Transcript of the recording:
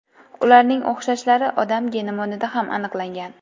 Ularning o‘xshashlari odam genomida ham aniqlangan.